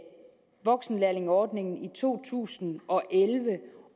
voksenlærlingeordningen i to tusind og elleve